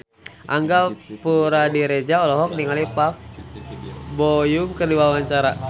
Angga Puradiredja olohok ningali Park Bo Yung keur diwawancara